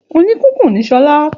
Òni kìkun ni Sola